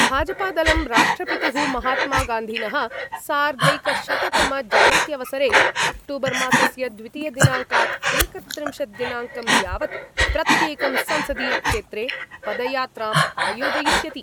भाजपादलं राष्ट्रपितुः महात्मगान्धिनः सार्धैकशततमजयन्त्यवसरे अक्टूबरमासस्य द्वितीय दिनाङ्कात् एकत्रिंशद्दिनाङ्कं यावत् प्रत्येकं संसदीयक्षेत्रे पदयात्राम् आयोजयिष्यति।